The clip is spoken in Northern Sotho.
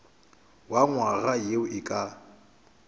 wa nywaga ye e ka